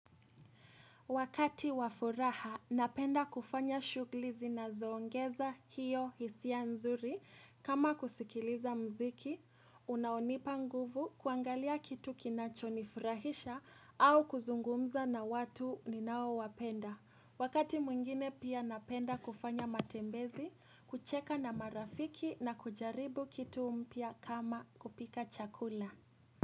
Wakati wa furaha, napenda kufanya shughuli zinazoongeza hiyo hisia nzuri kama kusikiliza muziki, unaonipa nguvu kuangalia kitu kinachonifurahisha au kuzungumza na watu ninaowapenda. Wakati mwingine pia napenda kufanya matembezi, kucheka na marafiki na kujaribu kitu mpya kama kupika chakula.